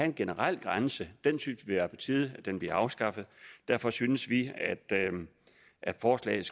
en generel grænse synes vi er på tide bliver afskaffet derfor synes vi at forslaget